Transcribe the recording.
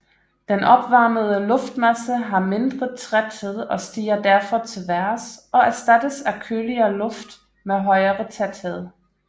Den opvarmede luftmasse har mindre tæthed og stiger derfor til vejrs og erstattes af køligere luft med højere tæthed